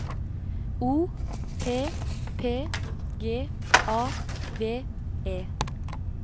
O P P G A V E